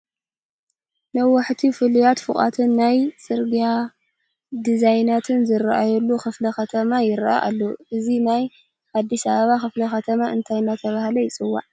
ነዋሕቲ ፍሉያት ፎቓትን ናይ ፅርጊያ ዲዛይናትን ዝርአዩሉ ክፍለ ከተማ ይርአ ኣሎ፡፡ እዚ ናይ ኣዲስ ኣበባ ክፍለ ከተማ እንታይ እናተባህለ ይፅዋዕ?